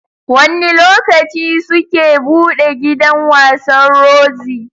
Wanne lokaci suke buɗe gidan wasan Roxy?